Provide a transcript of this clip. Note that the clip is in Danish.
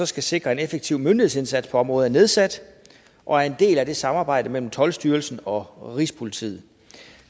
skal sikre en effektiv myndighedsindsats på området er nedsat og er en del af samarbejdet mellem toldstyrelsen og rigspolitiet